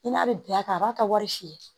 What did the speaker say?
I n'a bɛ bi a kan a b'a ka wari si ye